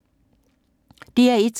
DR1